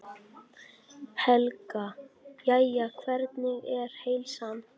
Helga: Jæja, hvernig er heilsan?